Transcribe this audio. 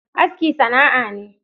Aski sana'a ne.